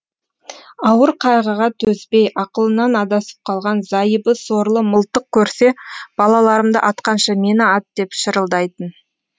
ауыр қайғыға төзбей ақылынан адасып қалған зайыбы сорлы мылтық көрсе балаларымды атқанша мені ат деп шырылдайтын